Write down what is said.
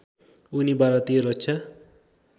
उनी भारतीय रक्षा